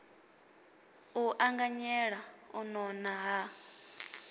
u anganyela u nona ha